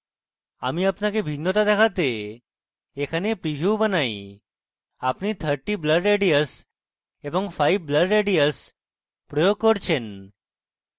আমি আপনাকে ভিন্নতা দেখাতে এখানে প্রীভিউ বানাই আপনি 30 blur radius এবং 5 blur radius প্রয়োগ করছেন